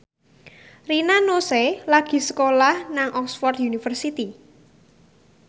Rina Nose lagi sekolah nang Oxford university